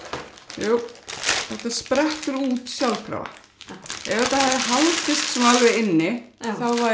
jú þetta sprettur út sjálfkrafa ef þetta hefði haldist inni þá væri